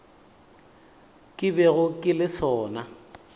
ke bego ke le sona